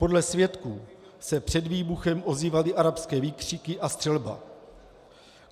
Podle svědků se před výbuchem ozývaly arabské výkřiky a střelba.